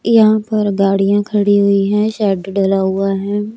यहां पर गाड़ियां खड़ी हुई हैं शेड डला हुआ है।